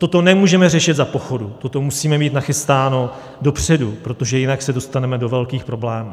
Toto nemůžeme řešit za pochodu, toto musíme mít nachystáno dopředu, protože jinak se dostaneme do velkých problémů.